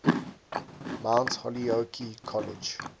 mount holyoke college